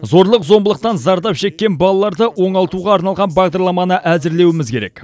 зорлық зомбылықтан зардап шеккен балаларды оңалтуға арналған бағдарламаны әзірлеуіміз керек